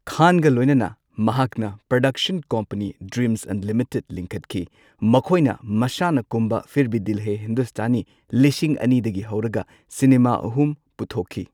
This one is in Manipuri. ꯈꯥꯟꯒ ꯂꯣꯏꯅꯅ ꯃꯍꯥꯛꯅ ꯄ꯭ꯔꯗꯛꯁꯟ ꯀꯝꯄꯅꯤ ꯗ꯭ꯔꯤꯝꯖ ꯑꯟꯂꯤꯃꯤꯇꯦꯗ ꯂꯤꯡꯈꯠꯈꯤ꯫ ꯃꯈꯣꯢꯅ ꯃꯁꯥꯅ ꯀꯨꯝꯕ ꯐꯤꯔ ꯚꯤ ꯗꯤꯜ ꯍꯦ ꯍꯤꯟꯗꯨꯁꯇꯥꯅꯤ ꯂꯤꯁꯤꯡ ꯑꯅꯤꯗꯒꯤ ꯍꯧꯔꯒ ꯁꯤꯅꯦꯃꯥ ꯑꯍꯨꯝ ꯄꯨꯊꯣꯛꯈꯤ꯫